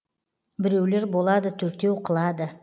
біреулер болады төртеу қылады